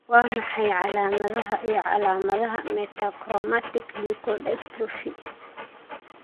Waa maxay calaamadaha iyo calaamadaha Metachromatic leukodystrophy?